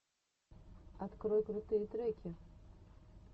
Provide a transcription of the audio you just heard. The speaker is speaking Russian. открой крутые треки